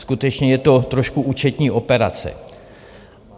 Skutečně je to trošku účetní operace.